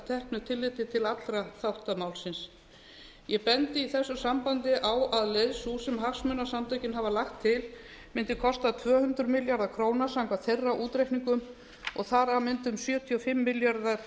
teknu tilliti til allra þátta málsins ég bendi í þessu sambandi á að leið sú sem hagsmunasamtökin hafa lagt til mundi kosta tvö hundruð milljarða króna samkvæmt þeirra útreikningum og þar af mundu um sjötíu og fimm milljarðar